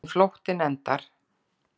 Hvernig flóttinn endar.